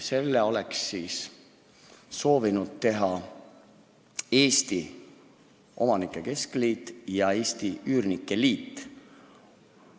Selle tegid Eesti Omanike Keskliit ja Eesti Üürnike Liit.